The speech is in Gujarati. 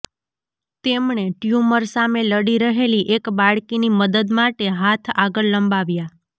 તેમણે ટ્યૂમર સામે લડી રહેલી એક બાળકીની મદદ માટે હાથ આગળ લંબાવ્યા